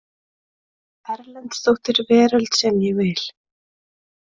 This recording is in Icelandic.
Erlendsdóttir Veröld sem ég vil.